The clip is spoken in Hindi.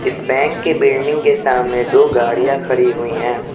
इस बैंक के बिल्डिंग के सामने दो गाड़ियां खड़ी हुई है।